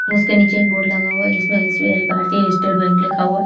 उसके नीचे एक बोर्ड लगा हुआ है जिसमें एस_बी_आई भारतीय स्टेट बैंक लिखा हुआ है।